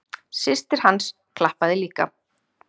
Systir hans klappaði líka.